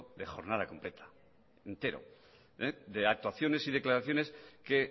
de jornada completa entero de actuaciones y declaraciones que